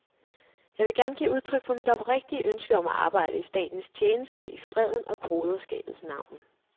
Jeg vil gerne give udtryk for mit oprigtige ønske om at arbejde i statens tjeneste i freden og broderskabets navn.